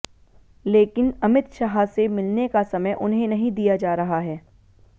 लेकिन अमित शाह से मिलने का समय उन्हें नहीं दिया जा रहा है